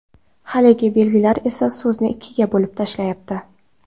Haligi belgilar esa so‘zni ikkiga bo‘lib tashlayapti.